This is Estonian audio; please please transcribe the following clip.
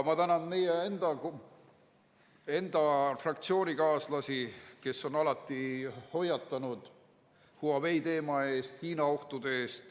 Ma tänan enda fraktsioonikaaslasi, kes on alati hoiatanud Huawei teema eest ja Hiina ohtude eest.